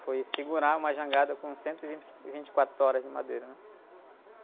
Foi segurar uma jangada com cento e vinte, e vinte e quaro toras de madeira, né?